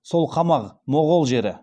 сол қамағ моғұл жері